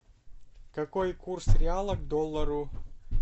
какой курс реала к доллару